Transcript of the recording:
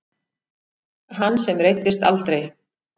Hann sem reiddist aldrei.